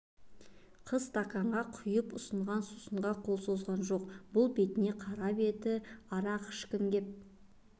қыз стаканға құйып ұсынған сусынға қол созған жоқ бұл бетіне қарап еді арақ ішкім кеп